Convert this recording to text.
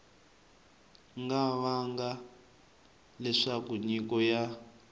nga vanga leswaku nyiko ya